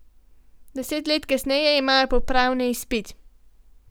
Deset let kasneje imajo popravni izpit.